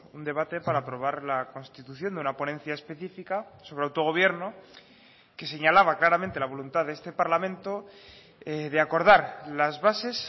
un debate para aprobar la constitución de una ponencia específica sobre autogobierno que señalaba claramente la voluntad de este parlamento de acordar las bases